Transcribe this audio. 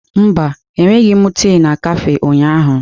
Mba, enweghị m tii na kafé ụnyaahụ.